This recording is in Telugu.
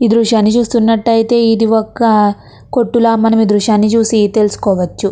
ఈ దృశ్యాన్ని చూస్తున్నట్టయితే ఇది ఒక్క కొట్టులో మనవి దృశ్యాన్ని చూసి తెలుసుకోవచ్చు.